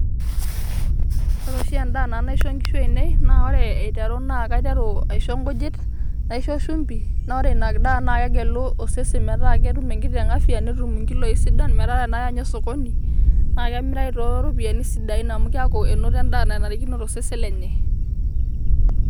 ore oshi edaa naisho nanu nkishu aainei, naa kaiteru aisho nkujit, naisho shumpi, naa ore ina daa kegelu osesen, metaa keeta enkiteng' afya .netum inkiloi sidan. metaa tenaya ninye sokoni, naa kemirayu too ropiyiani sidain amu enoto edaa nanarikino tosesen lenye.